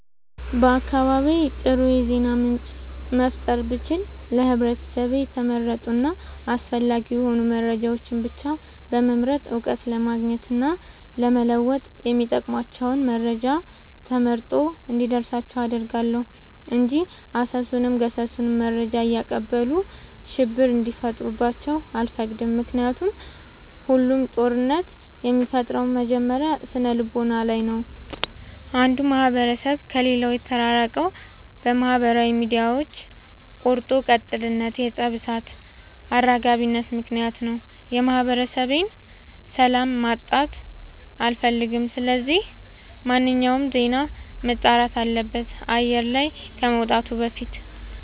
በአካባቢዬ አጥሩ የዜና ምንጭ መፍጠር ብችል ለህብረተሰቤ የተመረጡ እና አስፈላጊ የሆኑ መረጃዎችን ብቻ በመምረጥ እውቀት ለማግኘት እና ለመወጥ የሚጠቅሟቸውን መረጃ ተመርጦ እንዲደርሳቸው አደርጋለሁ። እንጂ አሰሱንም ገሰሱንም መረጃ እያቀበሉ ሽብር እንዲፈጥሩባቸው አልፈቅድም ምክንያቱም ሁሉም ጦርነት የሚፈጠረው መጀመሪያ ስነልቦና ላይ ነው። አንዱ ማህበረሰብ ከሌላው የተራራቀው በማህበራዊ ሚዲያዎች ቆርጦ ቀጥልነት የፀብ እሳት አራጋቢነት ምክንያት ነው። የማህበረሰቤን ሰላም ማጣት አልፈልግም ስለዚህ ማንኛውም ዜና መጣራት አለበት አየር ላይ ከመውጣቱ በፊት።